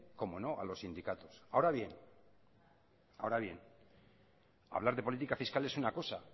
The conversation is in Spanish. cómo no a los sindicatos ahora bien hablar de política fiscal es una cosa